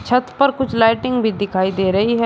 छत पर कुछ लाइटिंग भी दिखाई दे रही है।